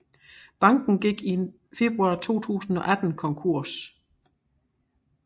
Banken gik i februar 2018 konkurs